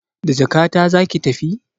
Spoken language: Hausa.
Da jakata zaki tafi?